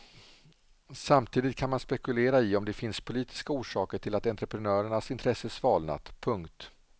Samtidigt kan man spekulera i om det finns politiska orsaker till att entreprenörernas intresse svalnat. punkt